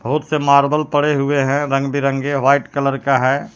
बहुत से मार्बल पड़े हुए हैं रंग-बिरंगे व्हाइट कलर का हैं.